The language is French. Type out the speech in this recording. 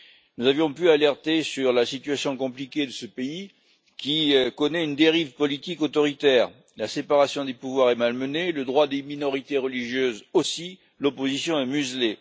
Nous avions pu alerter sur la situation compliquée de ce pays qui connaît une dérive politique autoritaire la séparation des pouvoirs est malmenée, le droit des minorités religieuses aussi, l'opposition est muselée.